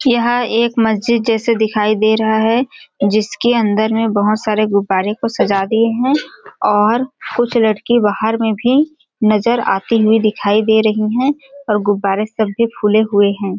यह एक मस्जिद जैसे दिखाई दे रहा है जिसके अंदर में बहुत सारे गुब्बारे को सजा दिए हैं और कुछ लड़की बाहर में भी नजर आती हुई दिखाई दे रही हैं और गुब्बारे सब भी फूले हुए हैं।